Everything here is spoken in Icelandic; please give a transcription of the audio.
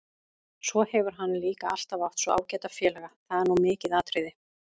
Svo hefur hann líka alltaf átt svo ágæta félaga, það er nú mikið atriði.